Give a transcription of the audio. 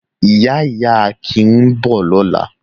Ìyá-ìyá Akin ń bọ̀ lọ́la.